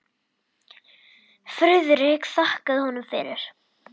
Friðrik þakkaði honum fyrir.